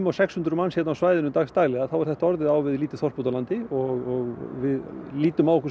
sex hundruð manns á svæðinu dagsdaglega þá er þetta á við lítið þorp út á landi við lítum á okkur sem